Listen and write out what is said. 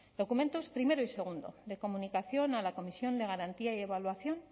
documentos primero y segundo de comunicación a la comisión de garantía y evaluación